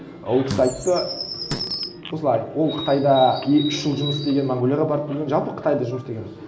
ол кісі айтты осылай ол қытайда үш жыл жұмыс істеген монғолияға барып көрген жалпы қытайда жұмыс істеген